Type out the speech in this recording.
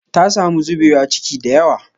Ta samu zubewa ciki da yawa